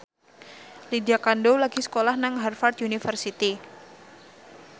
Lydia Kandou lagi sekolah nang Harvard university